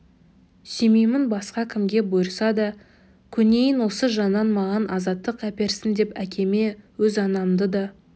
сүймеймін басқа кімге бұйырса да көнейін осы жаннан маған азаттық әперсін деп әкеме өз анамды да